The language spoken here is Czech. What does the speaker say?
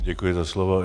Děkuji za slovo.